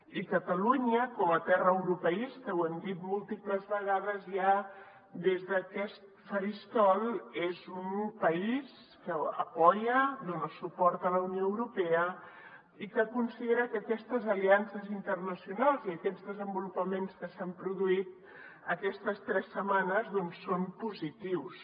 i catalunya com a terra europeista ho hem dit múltiples vegades ja des d’aquest faristol és un país que dona suport a la unió europea i que considera que aquestes aliances internacionals i aquests desenvolupaments que s’han produït aquestes tres setmanes doncs són positius